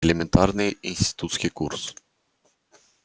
элементарный институтский курс